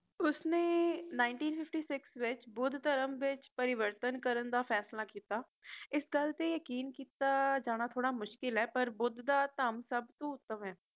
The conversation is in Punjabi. ਉਸਨੇ ਉੱਨੀ ਸੌ ਸ਼ਪਨ ਵਿੱਚ ਬੁੱਧ ਧਰਮ ਵਿੱਚ ਪਰਿਵਰਤਨ ਕਰਨ ਦਾ ਫੈਸਲਾ ਕੀਤਾ ਇਸ ਗੱਲ ਤੇ ਯਕੀਨ ਕਰੇਆ ਜਾਣਾ ਥੋੜਾ ਮੁਸ਼ਕਿਲ ਏ ਪਰ ਬੁੱਧ ਦਾ ਧਰਮ ਦਾ ਸਬਤੋਂ ਉੱਤਮ ਏ